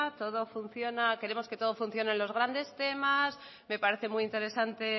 queremos que todo funcione en los grandes temas me parece muy interesante